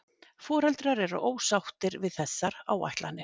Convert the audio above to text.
Foreldrar eru ósáttir við þessar áætlanir